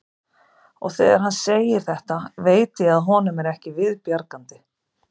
Og þegar hann segir þetta veit ég að honum er ekki við bjargandi.